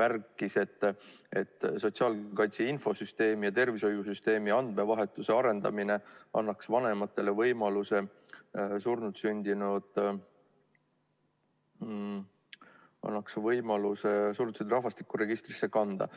märkis, et sotsiaalkaitse infosüsteemi ja tervishoiusüsteemi andmevahetuse arendamine annaks vanematele võimaluse surnult sündinut rahvastikuregistrisse kanda.